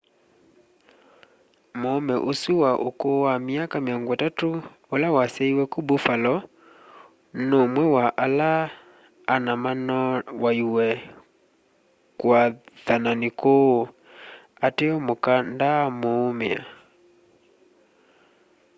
muume usu wa ukuu wa myaka 30 ula wasyaiwe ku buffalo numwe wa ala ana manoowaiwe kuathanani kuu ateo muka ndanaaumia